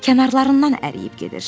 Kənarlarından əriyib gedir.